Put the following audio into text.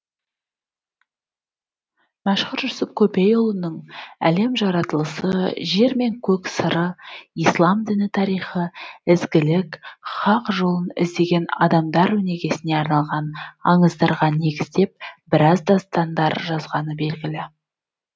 мәшһүр жүсіп көпейұлының әлем жаратылысы жер мен көк сыры ислам діні тарихы ізгілік хақ жолын іздеген адамдар өнегесіне арналған аңыздарға негіздеп біраз дастандар жазғаны белгілі